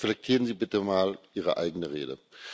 Reflektieren Sie bitte mal Ihre eigene Rede!